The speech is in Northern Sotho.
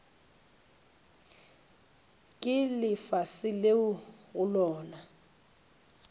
ke lefase leo go lona